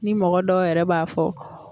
Ni mɔgɔ dɔw yɛrɛ b'a fɔ